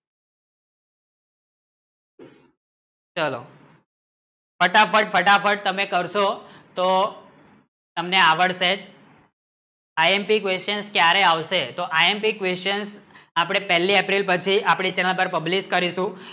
ચાલો ફટાફટ ફટાફટતમે કરશો તો તમને આવડશે જ આઈએમપી questions ક્યારે આવશે તો આઈએમપી question આપણે પહેલી એપ્રિલ પરથી આપણે તેના પર પબ્લિક કરીશું